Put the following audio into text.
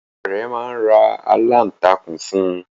Ìyá rẹ̀ máa ra aláǹtakùn fún un.